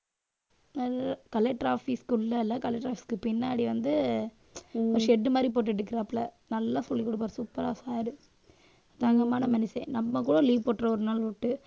அஹ் collector office க்கு உள்ள இல்லை collector office க்கு பின்னாடி வந்து ஒரு ஷெட் மாதிரி போட்டு எடுக்கறாப்புல. நல்லா சொல்லிக் கொடுப்பார் super ஆ sir தங்கமான மனுஷன். நம்ம கூட leave போட்ருவோம் ஒரு